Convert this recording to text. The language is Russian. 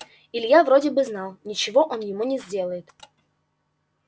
илья вроде бы знал ничего он ему не сделает